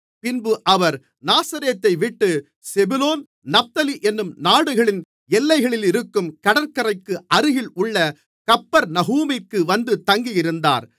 பின்பு அவர் நாசரேத்தைவிட்டு செபுலோன் நப்தலி என்னும் நாடுகளின் எல்லைகளிலிருக்கும் கடற்கரைக்கு அருகில் உள்ள கப்பர்நகூமிற்கு வந்து தங்கியிருந்தார்